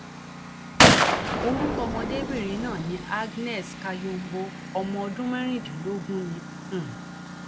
orúkọ ọmọdébìnrin náà ni agnès kayombo ọmọ ọdún mẹrìndínlógún ni um